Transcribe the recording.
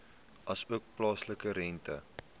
asook plaaslike rente